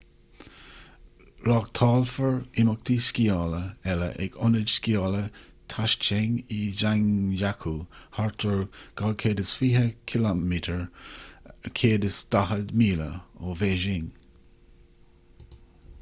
reáchtálfar imeachtaí sciála eile ag ionad sciála taizicheng i zhangjiakou thart ar 220 km 140 míle ó bhéising